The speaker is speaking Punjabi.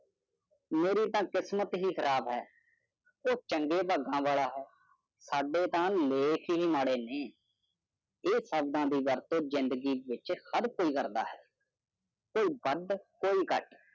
ਮੇਰੀ ਤਾਂ ਕਿਸਮਤ ਹੀ ਖਰਾਬ ਹੈ । ਉਹ ਚੰਗੇ ਭਾਗਾਂ ਵਾਲਾ ਹੈ, ਸਾਡੇ ਤਾਂ ਲੇਖ ਹੀ ਮਾੜੇ ਨੇ ਇਹ ਸਾਦਾ ਦੀ ਗੱਲ ਜਿੰਦਗੀ ਵਿੱਚ ਹਰ ਕੋਈ ਕਰਦਾ ਹੈ, ਕੋਈ ਵੱਧ ਕੋਈ ਘੱਟ।